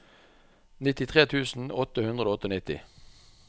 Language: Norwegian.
nittitre tusen åtte hundre og nittiåtte